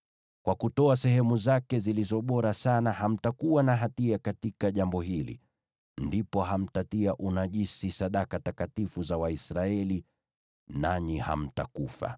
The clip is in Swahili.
Kwa kutoa sehemu zake zilizo bora sana, hamtakuwa na hatia katika jambo hili; ndipo hamtatia unajisi sadaka takatifu za Waisraeli, nanyi hamtakufa.’ ”